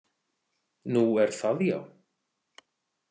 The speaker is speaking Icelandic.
Nú, er það, já